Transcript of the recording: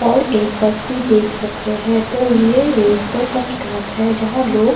और एक बस भी देख सक रहे है तो ये एक बस स्टॉप है। जहां लोग --